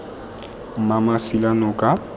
mmamasilanoka